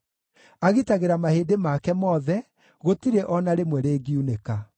agitagĩra mahĩndĩ make mothe, gũtirĩ o na rĩmwe rĩngiunĩka.